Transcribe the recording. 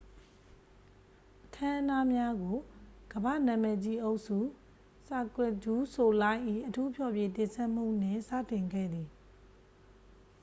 အခမ်းအနားများကို ကမ္ဘာ့နာမည်ကြီးအုပ်စု cirque du soleil ၏ အထူးဖျော်ဖြေတင်ဆက်မှုနှင့် စတင်ခဲ့သည်